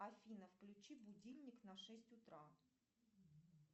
афина включи будильник на шесть утра